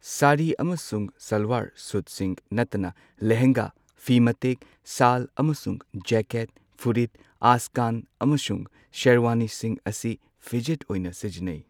ꯁꯥꯔꯤ ꯑꯃꯁꯨꯡ ꯁꯜꯋꯥꯔ ꯁꯨꯠꯁꯤꯡ ꯅꯠꯇꯅ ꯂꯦꯍꯦꯡꯒꯥ, ꯐꯤ ꯃꯇꯦꯛ, ꯁꯥꯜ ꯑꯃꯁꯨꯡ ꯖꯦꯀꯦꯠ, ꯐꯨꯔꯤꯠ, ꯑꯆꯀꯟ ꯑꯃꯁꯨꯡ ꯁꯦꯔꯋꯥꯅꯤꯁꯤꯡ ꯑꯁꯤ ꯐꯤꯖꯦꯠ ꯑꯣꯏꯅ ꯁꯤꯖꯤꯟꯅꯩ꯫